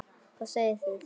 Hvað segið þið?